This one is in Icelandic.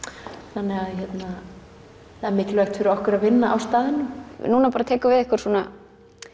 þannig að það er mikilvægt fyrir okkur að vinna á staðnum núna tekur við einhver svona